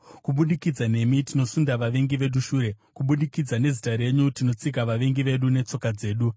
Kubudikidza nemi, tinosunda vavengi vedu shure; kubudikidza nezita renyu, tinotsika vavengi vedu netsoka dzedu.